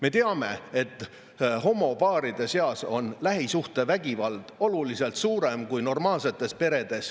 Me teame, et homopaaride seas on lähisuhtevägivalda oluliselt rohkem kui normaalsetes peredes.